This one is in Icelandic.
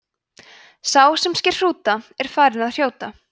sá sem sker hrúta er farinn að hrjóta